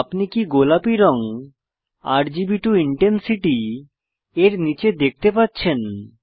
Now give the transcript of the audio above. আপনি কি গোলাপী রং আরজিবি টো ইনটেনসিটি এর নীচে দেখতে পাচ্ছেন